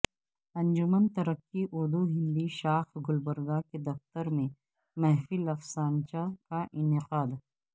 انجمن ترقی اردو ہند شاخ گلبرگہ کے دفتر میں محفل افسانچہ کا انعقاد